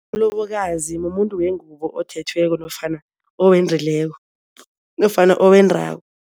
Mlobokazi mumuntu wengubo othethweko nofana owendileko nofana owendako.